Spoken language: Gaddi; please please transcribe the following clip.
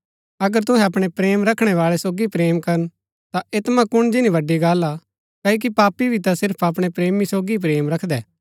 अगर तुहै अपणै प्रेम रखणै बाळै सोगी प्रेम करन ता ऐतमा कुण जिनी बड़ी गल्ल हा क्ओकि पापी भी ता सिर्फ अपणै प्रेमी सोगी ही प्रेम रखदै